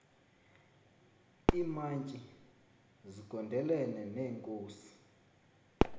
iimantyi zigondelene neenkosi